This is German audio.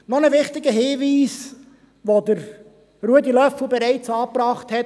Noch zu einem wichtigen Hinweis, den mein Grossratskollege Ruedi Löffel bereits angebracht hat.